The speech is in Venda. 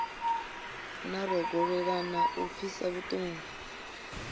na rogolelana lu pfisaho vhutungu